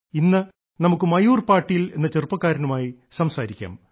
ഇന്ന് നമുക്ക് മയൂർ പാട്ടീൽ എന്ന് ചെറുപ്പക്കാരനുമായി സംസാരിക്കാം